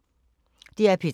DR P3